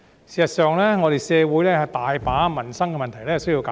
事實上，社會有很多民生問題需要解決。